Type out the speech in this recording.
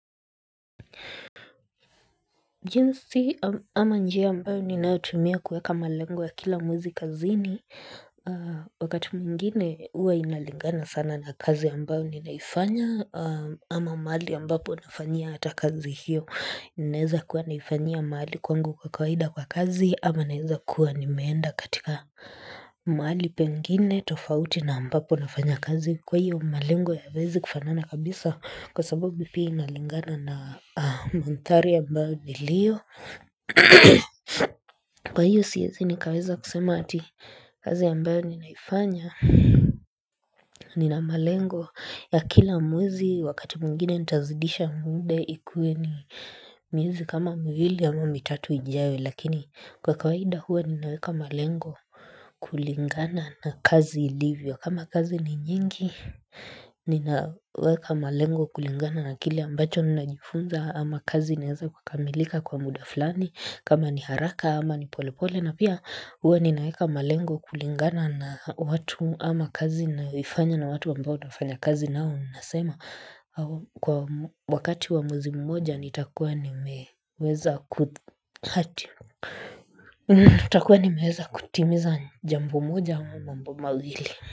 Jinsi ama njia ambayo ninautumia kuweka malengo wa kila mwezi kazini, wakati mwingine huwa inalingana sana na kazi ambayo ninaifanya ama mali ambapo nafanya hata kazi hiyo. Inaeza kuwa naifanya mahali kwangu kwa kawaida kwa kazi ama naeza kuwa nimeenda katika mahali pengine tofauti na ambapo nafanya kazi kwa hiyo malengo hayawezi kufanana kabisa kwa sababu bipi inalingana na mandhari ambao nilio kwa hiyo siezi nikaweza kusema ati kazi ambao ninaifanya nina malengo ya kila mwezi wakati mwingine nitazidisha muda ikue ni miezi kama miwili ama mitatu ijayo lakini kwa kawaida huwa ninaweka malengo kulingana na kazi ilivyo kama kazi ni nyingi ninaweka malengo kulingana na kile ambacho ninajifunza ama kazi inaeza kukamilika kwa muda fulani kama ni haraka ama ni pole pole na pia huwa ninaweka malengo kulingana na watu ama kazi naifanya na watu ambao nafanya kazi nao Unasema kwa wakati wa mwezi mmoja nitakuwa nimeweza kutimiza jambo moja au mambo maghili.